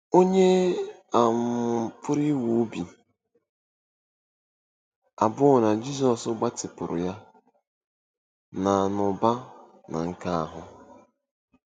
Ònye um pụrụ inwe obi abụọ na Jizọs gbatịpụrụ ya, na n'ụba na nke ahụ?